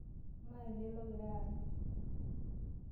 Ng'ae elde logira aany?